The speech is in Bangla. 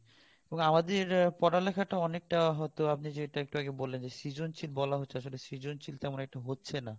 এবং আমাদে পড়ালেখা টা অনেক টা হয়তো আপনি যেরকম বললেন সৃজনশীল বলা হচ্ছে কিন্তু সৃজনশীল তেমন একটা হচ্ছে না